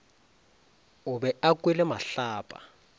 o be a kwele mahlapa